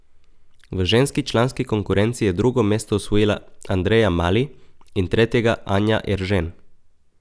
V ženski članski konkurenci je drugo mesto osvojila Andreja Mali in tretjega Anja Eržen.